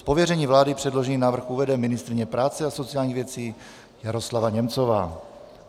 Z pověření vlády předložený návrh uvede ministryně práce a sociálních věcí Jaroslava Němcová.